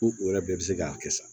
Ko u yɛrɛ bɛɛ bɛ se k'a kɛ sa